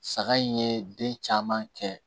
Saga in ye den caman kɛ